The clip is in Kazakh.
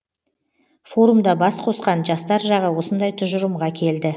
форумда бас қосқан жастар жағы осындай тұжырымға келді